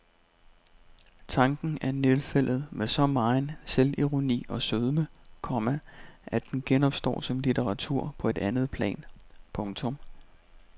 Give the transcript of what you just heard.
Tanken er nedfældet med så megen selvironi og sødme, komma at den genopstår som litteratur på et andet plan. punktum